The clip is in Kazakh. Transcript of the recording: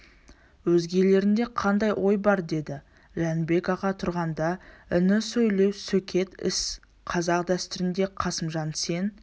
өзгелеріңде қандай ой бар деді жәнібек аға тұрғанда іні сөйлеу сөкет іс қазақ дәстүрінде қасымжан сен